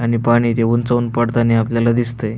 आणि पाणी ते उंचावरून पडताना दिसतंय.